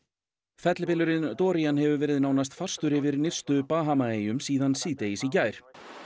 fellibylurinn Dorian hefur verið nánast fastur yfir nyrstu Bahamaeyjum síðan síðdegis í gær